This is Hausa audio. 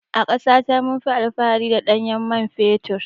A ƙasa ta munfi alfahari da ɗanyen mai fetur.